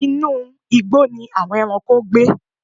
Inu igbó ni àwon ẹranko gbe.